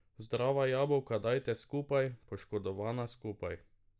Zdrava jabolka dajte skupaj, poškodovana skupaj.